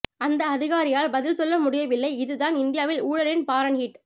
அந்த அதிகாரியால் பதில் சொல்ல முடியவில்லை இதுதான் இந்தியாவில் ஊழலின் பாரன்ஹீட்